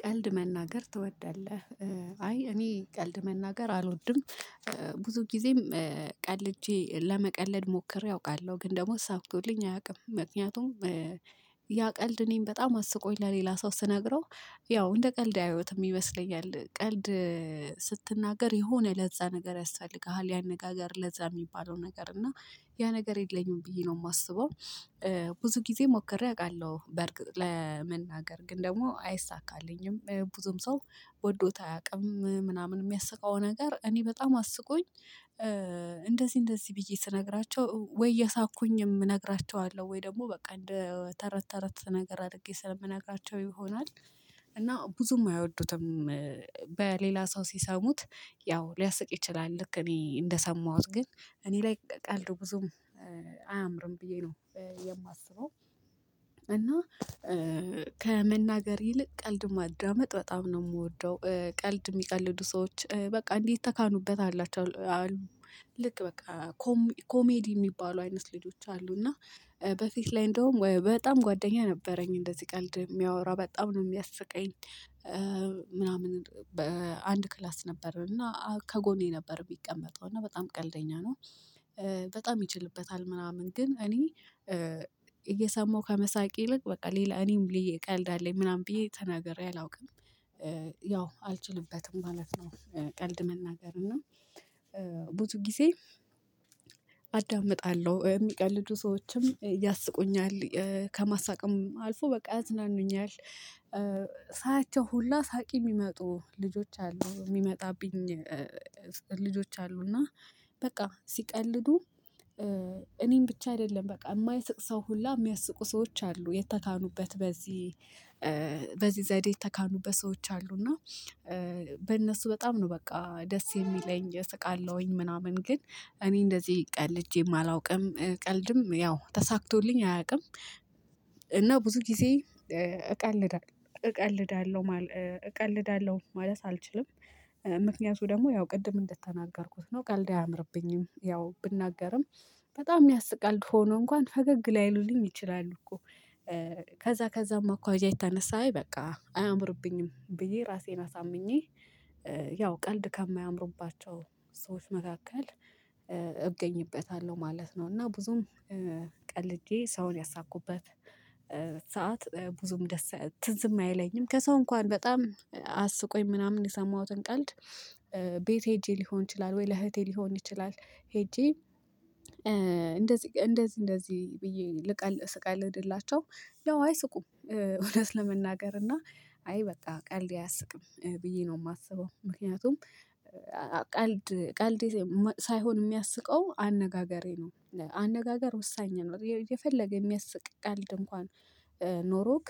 ቀልድ መናገር ትወዳለህ አይ እኔ ቀልድ መናገር አልወድም። ብዙ ጊዜም ቀልጄ ለመቀለድ ሞክሬ አውቃለሁ ግን ደግሞ ሳክቶልኝ አያውቅም። ምክንያቱም ያቀልድ እኔን በጣም አስቆኝ ለሌላ ሰው ስነግረው ያው እንደ ቀልድ አያዩትም ይመስለኛል። ቀልድ ስትናገር የሆነ ለዛ ነገር ያስፈልግሃል ያነጋገር ለዛ የሚባለው ነገር እና ያ ነገር የለኝም ብዬ ነው የማስበው። ብዙ ጊዜ ሞክሬ አውቃለሁ በርግጥ ለመናገር ግን ደግሞ አይሳካልኝም ብዙም ሰው ወዶት አያውቅም ምናምን የሚያስቃው ነገር እኔ በጣም አስቆኝ። እንደዚህ እንደዚህ ብዬ ስነግራቸው ወይ እየሳኩኝም እነግራቸዋለሁ ወይ ደግሞ በቃ እንደ ተረት ተረት ነገር አድርጌ ስለምነግራቸው ይሆናል። እና ብዙም አይወዱትም። በሌላ ሰው ሲሰሙት ያው ሊያስቅ ይችላል ልክ እኔ እንደሰማሁት ግን እኔ ላይ ቀልድ ብዙም አያምርም ብዬ ነው የማስበው። እና ከመናገር ይልቅ ቀልድ ማዳመጥ በጣም ነው የምወደው። ቀልድ የሚቀልዱ ሰዎች በቃ እንዲህ ተካኑበት አላቸው አሉ። ልክ በቃ ኮም ኮሜዲ የሚባሉ አይነት ልጆች አሉ። እና በፊት ላይ እንደውም በጣም ጓደኛ ነበረኝ እንደዚህ ቀልድ የሚያወራ በጣም ነው የሚያስቀኝ። ምናምን በአንድ ክላስ ነበርና ከጎኔ ነበር የሚቀመጠው እና በጣም ቀልደኛ ነው። በጣም ይችልበታል ምናምን ግን እኔ እየሰማሁ ከመሳቅ ይልቅ በቃ ሌላ እኔም ብዬ ቀልድ አለኝ ምናምን ብዬ ተናግሬ አላውቅም። ያው አልችልበትም ማለት ነው። ቀልድ መናገር እና ብዙ ጊዜ አዳምጣለሁ የሚቀልዱ ሰዎችም ያስቁኛል ከማሳቀም አልፎ በቃ ያዝናኑኛል። ሳያቸው ሁላ ሳቂ የሚመጡ ልጆች አሉ የሚመጣብኝ። ልጆች አሉ እና በቃ ሲቀልዱ እኔን ብቻ አይደለም በቃ የማይስቅ ሰው ሁላ የሚያስቁ ሰዎች አሉ የተካኑበት በዚህ በዚህ ዘዴ የተካኑበት ሰዎች አሉ። እና በእነሱ በጣም ነው በቃ ደስ የሚለኝ እሰቃለሁኝ ምናምን ግን እኔ እንደዚህ ቀልጄም አላውቅም ቀልድም ያው ተሳክቶልኝ አያውቅም። እና ብዙ ጊዜ እቀልዳ እቀልዳለሁ ማል እቀልዳለሁ ማለት አልችልም። ምክንያቱ ደግሞ ያው ቅድም እንደተናገርኩት ነው ቀልድ አያምርብኝም ያው ብናገርም በጣም የሚያስቅ ቀልድ ሆኖ እንኳን ፈገግ ላይሉልኝ ይችላሉ እኮ። ከዛ ከዛም አኳያ የተነሳይ በቃ አያምርብኝም ብዬ ራሴን አሳምኜ። ያው ቀልድ ከማያምሩባቸው ሰዎች መካከል እገኝበታለሁ ማለት ነው። እና ብዙም ቀልጄ ሰውን ያሳኩበት ሰዓት ብዙም ደስ ትዝም አይለኝም ከሰው እንኳን በጣም አስቆኝ ምናምን የሰማሁትን ቀልድ። ቤት ሄጄ ሊሆን ይችላል ወይ ለእህቴ ሊሆን ይችላል። ሄጄ እንደዚህ እንደዚህ እንደዚህ ብዬ ልቀል ስቀልድላቸው ያው አይስቁም እውነት ለመናገር እና አይ በቃ ቀልዴ አያስቅም ብዬ ነው የማስበው። ምክንያቱም ቀልድ ቀልድ ሳይሆን የሚያስቀው አነጋገሬ ነው። አነጋገር ወሳኝ ነው የፈለገ የሚያስቅ ቀልድ እንኳን ኖሮክ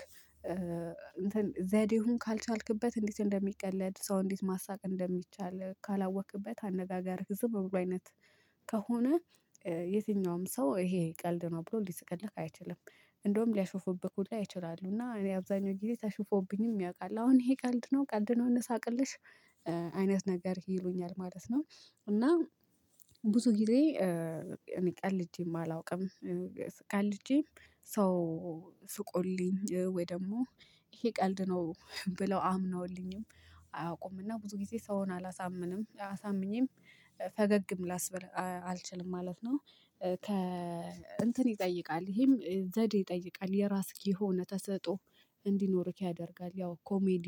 ዘዴውን ካልቻልክበት እንዴት እንደሚቀለድ ሰው እንዴት ማሳቅ እንደሚቻል ካላወቅክበት አነጋጋርህ ዝም ብሎ አይነት ከሆነ የትኛውም ሰው ይሄ ቀልድ ነው ብሎ ሊሰቀልህ አይችልም። እንደውም ሊያሾፉብህ ሁላ ይችላሉ እና እኔ አብዛኛው ጊዜ ተሽፎብኝም ያውቃል አሁን ይሄ ቀልድ ነው ቀልድ ነው እነሳቅልሽ አይነት ነገርክ ይሉኛል ማለት ነው። እና ብዙ ጊዜ እኔ ቀልጄም አላውቅም። ቀልጄም ሰው ስቆልኝ ወይ ደግሞ ይሄ ቀልድ ነው ብለው አምነውልኝም አያውቁምና ብዙ ጊዜ ሰውን አላሳምንም አሳምኜም ፈገግም ላስበል አልችልም ማለት ነው። ከ እንትን ይጠይቃል ይሄም ዘዴ ይጠይቃል የራስህ የሆነ ተሰጥኦ እንዲኖርክ ያደርጋል። ያው ኮሜዲ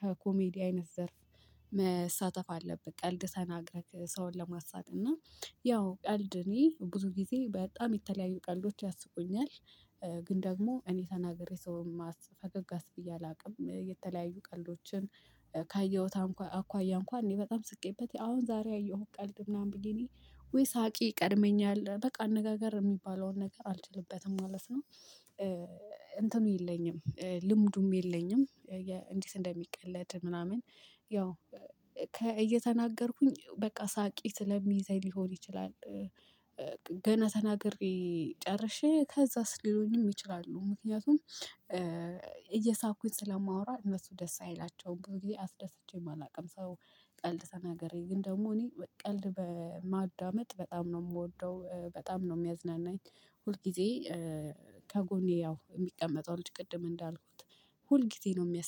ከኮሜዲ አይነት ዘርፍ መሳተፍ አለብህ። ቀልድ ሰናግረህ ሰውን ለማሳቅ እና ያው ቀልድ እኔ ብዙ ጊዜ በጣም የተለያዩ ቀልዶች ያስቁኛል። ግን ደግሞ እኔ ተናግሬ ሰውን ማስፈገግ አስብዬ አላውቅም። የተለያዩ ቀልዶችን አንኳ አኳያ እንኳን እኔ በጣም ስቄበት አሁን ዛሬ ያየሁት ቀልድ ምናምን ብዬ እኔ ወይ ሳቂ ቀድመኛል በቃ አነጋገር የሚባለውን ነገር አልችልበትም ማለት ነው። እንትኑ የለኝም ልሙዱም የለኝም እንዲት እንደሚቀለድ ምናምን ያው እየተናገርኩኝ በቃ ሳቄ ስለሚይዘኝ ሊሆን ይችላል። ገና ተናግሬ ጨርሼ ከዛስ ሊሆንም ይችላሉ ምክንያቱም እየሳኩኝ ስለማወራ እነሱ ደስ አይላቸውም ብዙ ጊዜ አስደስቼም አላውቅም። ሰው ቀልድ ተናገሬ ግን ደግሞ እኔ ቀልድ በማዳመጥ በጣም ነው የምወደው በጣም ነው የሚያዝናናኝ። ሁል ጊዜ ከጎኔ ያው የሚቀመጠው ልጅ ቅድም እንዳልኩት ሁልጊዜ ነው የሚያስ